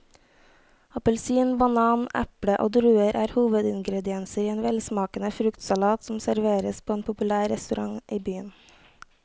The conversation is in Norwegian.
Appelsin, banan, eple og druer er hovedingredienser i en velsmakende fruktsalat som serveres på en populær restaurant i byen.